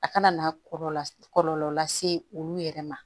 A kana na kɔlɔlɔ kɔlɔlɔ lase olu yɛrɛ ma